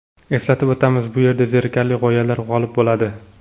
Eslatib o‘tamiz: bu yerda zerikarli g‘oyalar g‘olib bo‘ladi.